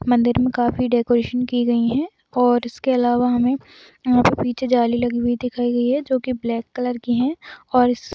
मंदिर के काफ़ी डेकोरेशन की गयी है और इसके अलावा हमे और वहाँ पे पीछे जाली लगी हुई दिखाई गयी है जो की ब्लैक कलर की है और इस --